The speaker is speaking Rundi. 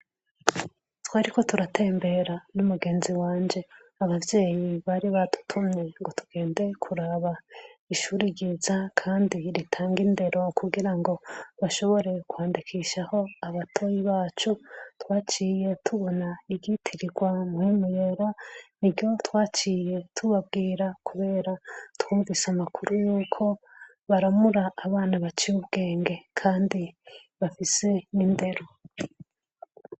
Twariko turatembera n'umugenzi wanje. Abavyeyi bari badutumye ngo tugende kuraba ishuri ryiza kandi ritanga indero kugira ngo bashobore kwandikishaho abatoyi bacu, twaciye tubona iryitirirwa Mpwemu Yera, ni ryo twaciye tubabwira, kubera twumvise amakuru y'uko, baramura abana baciye ubwenge kandi bafise n'indero.